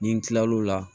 Ni n kila l'o la